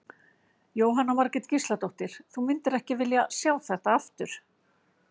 Jóhanna Margrét Gísladóttir: Þú myndir ekki vilja sjá þetta aftur?